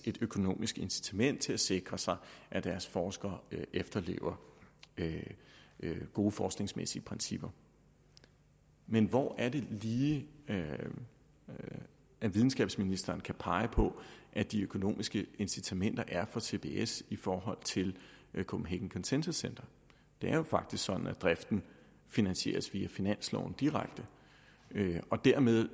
et økonomisk incitament til at sikre sig at deres forskere efterlever gode forskningsmæssige principper men hvor er det lige at videnskabsministeren kan pege på at de økonomiske incitamenter er på cbs i forhold til copenhagen consensus center det er jo faktisk sådan at driften finansieres via finansloven direkte og dermed